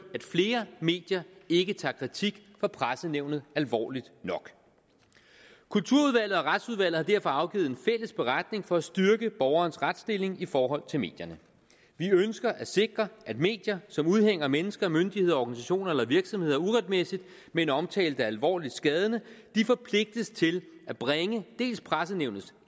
at flere medier ikke tager kritik fra pressenævnet alvorligt nok kulturudvalget og retsudvalget har derfor afgivet en fælles beretning for at styrke borgerens retsstilling i forhold til medierne vi ønsker at sikre at medier som udhænger mennesker myndigheder organisationer eller virksomheder uretmæssigt med en omtale er alvorligt skadende forpligtes til at bringe dels pressenævnets